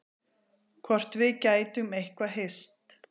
Hvort við gætum eitthvað hist.